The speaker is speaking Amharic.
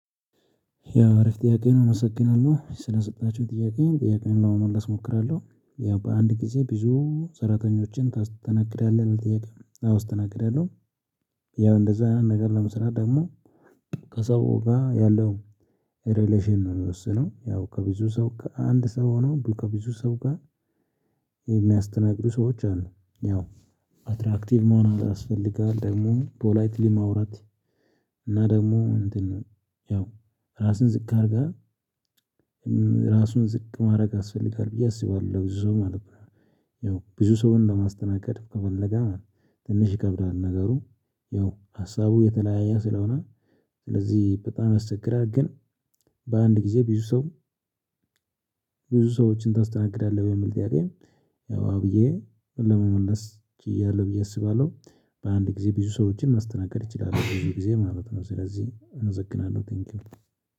ያው አሪፍ ጥያቄ ነው? እመሰግናለሁ ስለሰጣችሁ ጥያቄዬን ጥያቄዬን ለመመልስ እሞክራለሁ ያው በአንድ ጊዜ ብዙ ሰራተኞችን ታስተናግዳለህ ነው ጥያቄው አወ አስተናግዳለሁ። ያው እንደዛ አይነት ነገር ለመስራት ደግሞ ከሰው ጋር ያለው ሪሌሽን ነው ሚወስነው ያው ከብዙ ሰው ከአንድ ሰው ሆኖ ከብዙ ሰው ጋር የሚያስተናግዱ ሰዎች አሉ ያው አትራክቲቭ መሆን ያስፈልጋል ደግሞ ፖላይትሊ ማውራት እና ደግሞ እንትን ያው ራስን ዝቅ አድርገህ ራሱን ዝቅ ማድረግ ያስፈልጋል ብዬ አስባለሁ ብዙ ሰው ማለት ነው። ያው ብዙ ሰውን ለማስተናገድ ከፈለገ ነው ትንሽ ይከብዳል ነገሩ። ያው ሀሳቡ የተለያየ ስለሆነ ስለዚህ በጣም ያስቸግራል። ግን በአንድ ጊዜ ብዙ ሰው ብዙ ሰዎችን ታስተናግዳለህ የሚል ጥያቄ? ያው አወ ብዬ ለመመለስ እችላለሁ ብዬ አስባለሁ። በአንድ ጊዜ ብዙ ሰዎችን ማስተናገድ እችላለሁ ብዙ ጊዜ ማለት ነው። ስለዚህ እመሰግናለን ቴንኪው